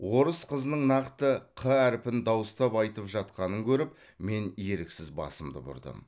орыс қызының нақты қ әріпін дауыстап айтып жатқанын көріп мен еріксіз басымды бұрдым